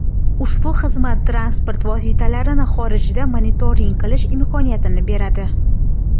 Ushbu xizmat transport vositalarini xorijda monitoring qilish imkoniyatini beradi.